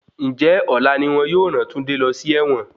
Ǹjẹ́ ọ̀la ni wọn yóò ràn Túndé lọ sí ẹ̀wọ̀n?